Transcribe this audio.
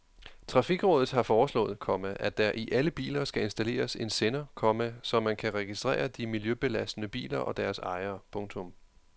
Trafikrådet har foreslået, komma at der i alle biler skal installeres en sender, komma så man kan registrere de miljøbelastende biler og deres ejere. punktum